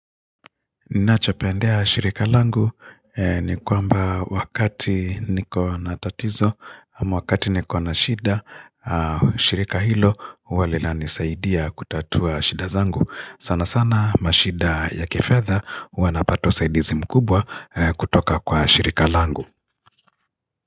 Ninachopendea shirika langu ni kwamba wakati niko natatizo ama wakati niko nashida shirika hilo huwa linisaidia kutatua shida zangu sana sana mashida ya kifedha huwa napata usaidizi mkubwa kutoka kwa shirika langu.